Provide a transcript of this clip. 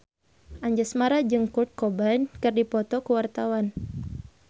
Anjasmara jeung Kurt Cobain keur dipoto ku wartawan